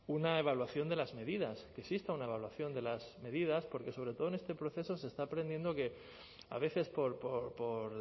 una evaluación de las medidas que exista una evaluación de las medidas porque sobre todo en este proceso se está aprendiendo que a veces por